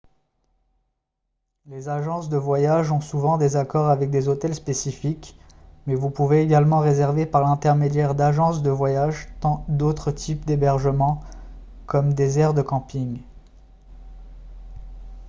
les agences de voyage ont souvent des accords avec des hôtels spécifiques mais vous pouvez également réserver par l'intermédiaire d'agences de voyage d'autres types d'hébergement comme des aires de camping